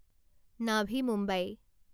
Navi Mumbai